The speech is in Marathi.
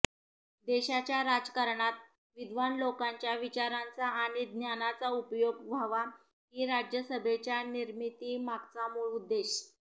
देशाच्या राजकारणात विद्वान लोकांच्या विचारांचा आणि ज्ञानाचा उपयोग व्हावा ही राज्यसभेच्या निर्मितीमागचा मूळ उद्देश